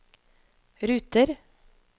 ruter